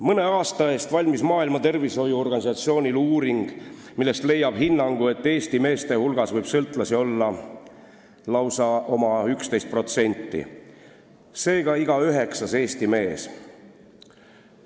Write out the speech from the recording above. Mõne aasta eest valmis Maailma Terviseorganisatsioonil uuring, millest leiab hinnangu, et Eesti meeste hulgas võib sõltlasi olla lausa 11%, seega on sõltlane iga üheksas Eesti mees.